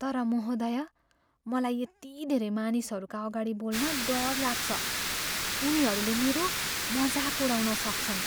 तर महोदया, मलाई यति धेरै मानिसहरूका अगाडि बोल्न डर लाग्छ। उनीहरूले मेरो मजाक उडाउन सक्छन्।